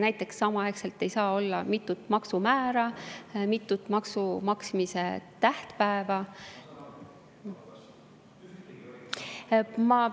Näiteks samaaegselt ei saa olla mitut maksumäära ja mitut maksu maksmise tähtpäeva.